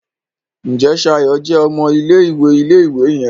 Njé Shayo jé ọmọ ilé-ìwé ilé-ìwé yen?